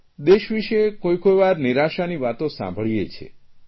દેશ વિષે કોઇકોઇ વાર નિરાશાની વાતો સાંભળીએ છીએ